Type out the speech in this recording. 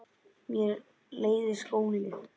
Mér leiðist skóli.